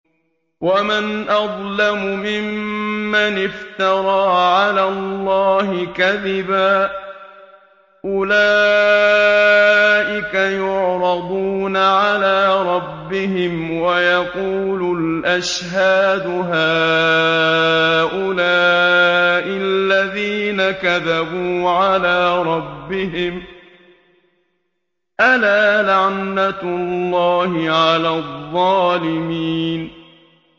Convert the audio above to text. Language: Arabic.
وَمَنْ أَظْلَمُ مِمَّنِ افْتَرَىٰ عَلَى اللَّهِ كَذِبًا ۚ أُولَٰئِكَ يُعْرَضُونَ عَلَىٰ رَبِّهِمْ وَيَقُولُ الْأَشْهَادُ هَٰؤُلَاءِ الَّذِينَ كَذَبُوا عَلَىٰ رَبِّهِمْ ۚ أَلَا لَعْنَةُ اللَّهِ عَلَى الظَّالِمِينَ